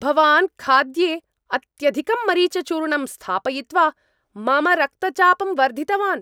भवान् खाद्ये अत्यधिकं मरिचचूर्णं स्थापयित्वा मम रक्तचापं वर्धितवान्।